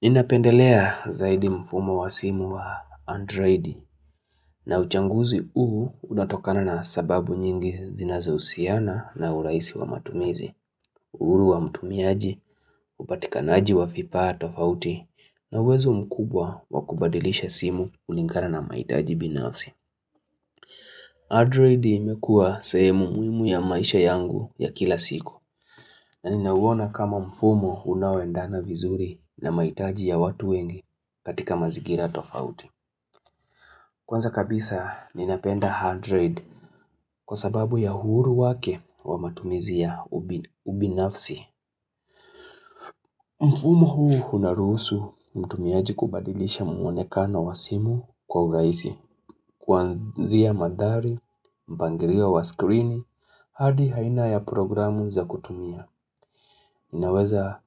Inapendelea zaidi mfumo wa simu wa Androidi na uchanguzi huu unatokana na sababu nyingi zinazo usiana na uraisi wa matumizi, uhuru wa mtumiaji, upatikanaji wa vipaa tofauti na uwezo mkubwa wakubadilisha simu kulingana na mahitaji binasi. Android imekua semu muhimu ya maisha yangu ya kila siku na ninawona kama mfumo unawendana vizuri na maitaji ya watu wengi katika mazigira tofauti. Kwanza kabisa ninapenda handroid kwa sababu ya huru wake wa matumizi ya ubinafsi. Mfumo huu unarusu mtumiaji kubadilisha muwonekana wa simu kwa uraizi, kuanzia madari, mpangirio wa screen, hadi haina ya programu za kutumia. Inaweza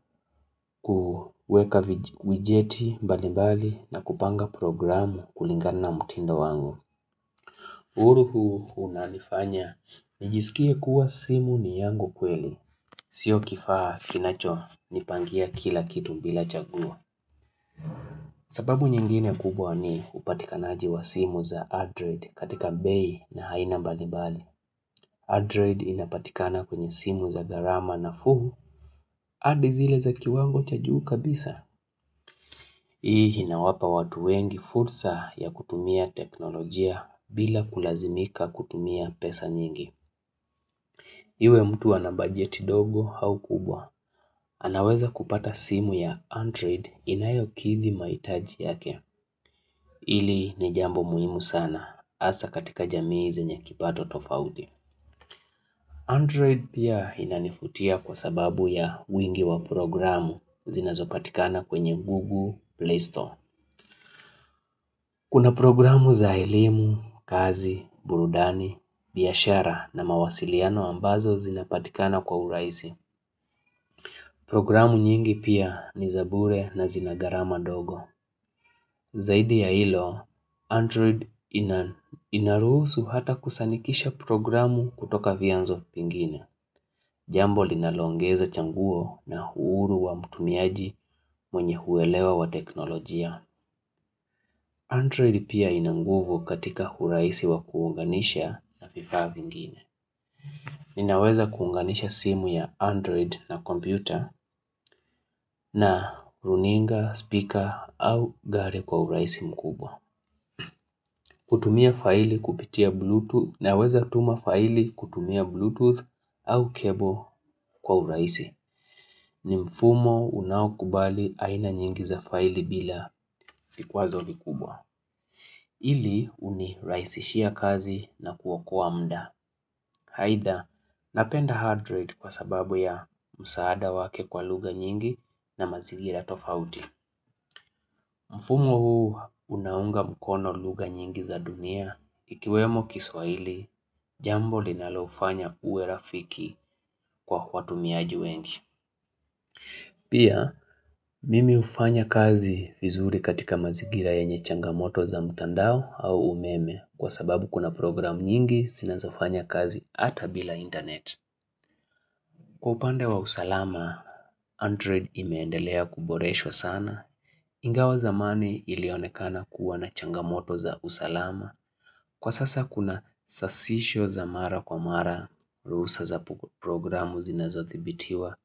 kuweka wijeti mbali mbali na kupanga programu kulingana mtindo wangu. Huru huu unanifanya, nijisikie kuwa simu ni yangu kweli, sio kifaa kinacho, nipangia kila kitu bila chaguo sababu nyingine kubwa ni upatikanaji wa simu za Android katika bei na haina mbalimbali. Android inapatikana kwenye simu za gharama nafuu, hadi zile za kiwango cha juu kabisa. Hii inawapa watu wengi fursa ya kutumia teknolojia bila kulazimika kutumia pesa nyingi. Iwe mtu anabajeti ndogo au kubwa. Anaweza kupata simu ya Android inayo kithi maitaji yake. Ili ni jambo muhimu sana. Asa katika jamii zenye kipato tofauti. Android pia inanifutia kwa sababu ya uingi wa programu zinazopatikana kwenye google Play Store. Kuna programu za elimu, kazi, burudani, biashara na mawasiliano ambazo zinapatikana kwa uraisi. Programu nyingi pia ni zabure na zinagarama ndogo. Zaidi ya ilo, Android inaruhusu hata kusanikisha programu kutoka vianzo pingine. Jambo linalongeza changuo na huuru wa mtumiaji mwenye huwelewa wa teknolojia. Android pia inanguvu katika huraisi wa kuunganisha na vifaa vingine. Ninaweza kuunganisha simu ya Android na kompyuta na runinga, speaker au gari kwa huraisi mkubwa. Kutumia faili kupitia Bluetooth na weza tuma faili kutumia Bluetooth au cable kwa huraisi. Ni mfumo unaukubali aina nyingi za faili bila fikwazo likubwa Ili uniraisishia kazi na kuwa kuwa mda Haida, napenda hard rate kwa sababu ya msaada wake kwa luga nyingi na mazigira tofauti Mfumo huu unaunga mkono lugha nyingi za dunia Ikiwemo kiswahili, jambo linalaofanya uwe rafiki kwa watu miaji wengi Pia, mimi ufanya kazi vizuri katika mazigira yenye changamoto za mtandao au umeme kwa sababu kuna program nyingi sinazofanya kazi ata bila internet. Kwa upande wa usalama, Android imeendelea kuboresho sana. Ingawa zamani ilionekana kuwa na changamoto za usalama. Kwa sasa kuna sasisho za mara kwa mara, rusa za programu zinazothibitiwa.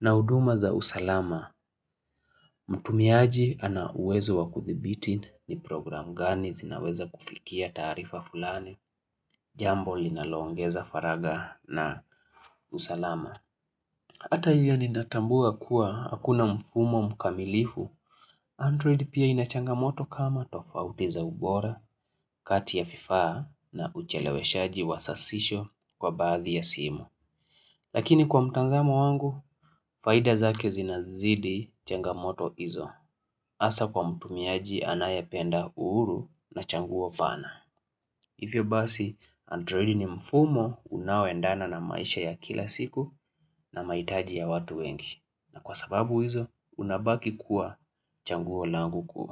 Na uduma za usalama, mtumiaji ana uwezo wa kuthibiti ni program gani zinaweza kufikia tarifa fulani, jambo linalongeza faraga na usalama. Hata hivyo ninatambua kuwa hakuna mfumo mkamilifu, Android pia inachangamoto kama tofauti za ubora, kati ya vifaa na ucheleweshaji wa sasisho kwa baadhi ya simu. Lakini kwa mtazamo wangu, faida zake zinazidi changamoto izo. Asa kwa mtumiaji anayependa uhuru na changuo vana. Ivyo basi, android ni mfumo unawendana na maisha ya kila siku na maitaji ya watu wengi. Na kwa sababu izo, unabaki kuwa changuo langu kuwa.